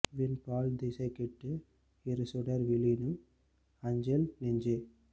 விண் பால் திசை கெட்டு இரு சுடர் வீழினும் அஞ்சேல் நெஞ்சே